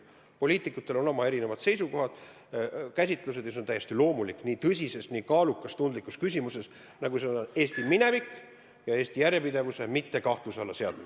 Poliitikutel on erinevad seisukohad-käsitused ja see on täiesti loomulik ka nii tõsise, nii kaaluka ja tundliku küsimuse puhul, nagu seda on Eesti minevik ja Eesti järjepidevuse mitte kahtluse alla seadmine.